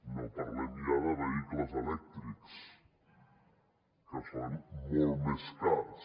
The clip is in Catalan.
no parlem ja de vehicles elèctrics que són molt més cars